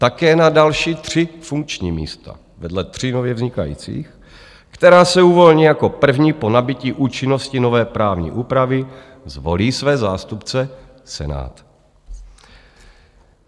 Také na další tři funkční místa vedle tří nově vznikajících, která se uvolní jako první po nabytí účinnosti nové právní úpravy, zvolí své zástupce Senát.